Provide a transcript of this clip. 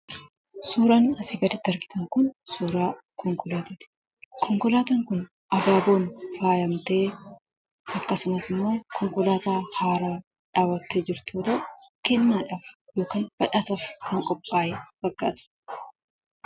Suuraan asii gaditti argitan kun suuraa konkolaataati. Konkolaataan kun abaaboon faayamtee, akkasumasimmoo konkolaataa haarawa dhaabbattee jirtu yoo ta'u, kennaadhaaf yookaan badhaasaaf kan qophaa'e fakkaata.